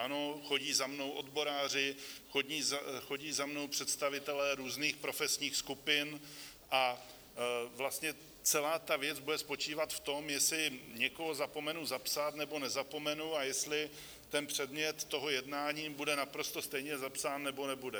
Ano, chodí za mnou odboráři, chodí za mnou představitelé různých profesních skupin, a vlastně celá ta věc bude spočívat v tom, jestli někoho zapomenu zapsat, nebo nezapomenu, a jestli ten předmět toho jednání bude naprosto stejně zapsán, nebo nebude.